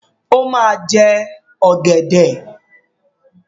O máa jẹ ọ̀gẹ̀dẹ̀.